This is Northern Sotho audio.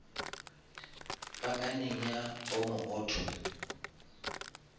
pakaneng ya omo auto